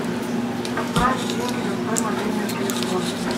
отправить деньги на свой мобильный телефон